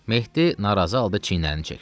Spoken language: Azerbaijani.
Mehdi narazı halda çiynini çəkdi.